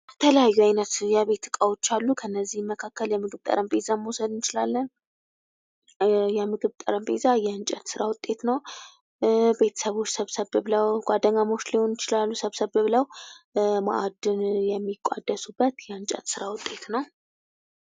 የተለያዩ አይነት የቤት ዕቃዎች አሉ። ከነዚህም መካከል የምግብ ጠረጴዛ መውሰድ እንችላለን። የምግብ ጠረጴዛ የእንጨት ሥራ ውጤት ነው። ቤተሰቦች ሰብሰብ ብለው ጓደኛሞች ሊሆኑ ይችላሉ፤ ሰብሰብ ብለው ማዕድን የሚቋደሱበት የእንጨት ሥራ ውጤት ነው።